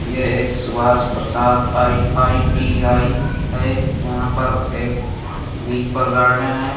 यह पर एक सुभाष प्रसाद आई.आई.टी.आई है यहां पर एक बिच पर गार्डेन है।